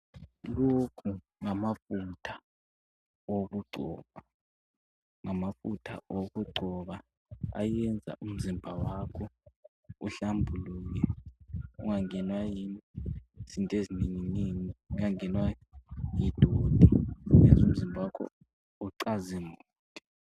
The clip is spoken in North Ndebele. Lokhu ngamafutha okugcoba. Ngamafutha okugcoba ayenza umzimba wakho uhlambuluke ungangenwa yizinto ezinenginengi, ungangenwa yidoti. Yenza umzimba wakho ucazimule.